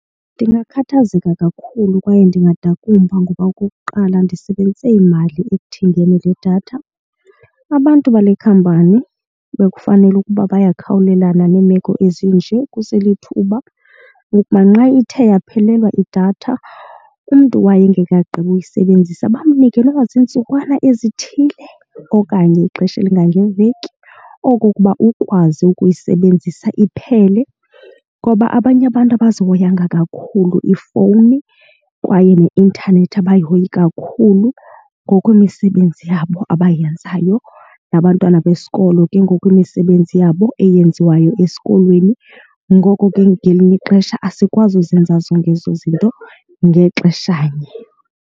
Ndingakhathazeka kakhulu kwaye ndingadakumba ngoba okokuqala ndisebenzise imali ekuthengeni le datha. Abantu bale khampani bekufanele ukuba bayakhawulelana neemeko ezinje kuselithuba ukuba nxa ithe yaphelelwa idatha umntu wayo engekagqibi uyisebenzisa bamnike nokuba ziintsukwana ezithile okanye ixesha elingange veki okokuba ukwazi ukuyisebenzisa iphele, ngoba abanye abantu abazihoyanga kakhulu iifowuni kwaye neintanethi abayihoyi kakhulu ngokwemisebenzi yabo abayenzayo nabantwana besikolo ke ngokwemisebenzi yabo eyenziwayo esikolweni. Ngoko ke ngelinye ixesha asikwazi uzenza zonke ezo zinto ngexeshanye.